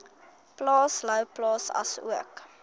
plaas louwplaas asook